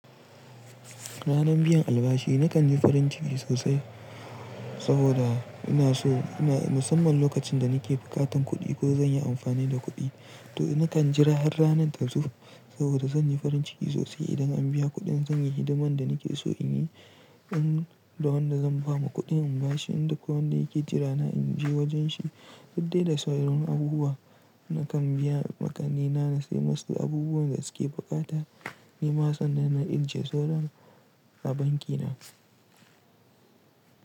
Ranar biyan albashi na kan yi farin ciki sosai saboda ina so in musamman lokacin da ni ke bukatan kuɗi ko zan yi amfani da kuɗi to na kan jira har ranar ta zo saboda zan yi farin ciki sosai idan an biya kuɗin zan yi hidiman da ni ke so in yi, in da wanda zan ba ma kuɗin albashi in da ko wanda yake jira na in je wajen shi. Litani da saurayin abubuwa na kan biya makanina na sai musu abubuwan da su ke bukata. Ni ma sannan na ije sauran a banki na.